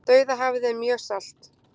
Dauðahafið er mjög salt!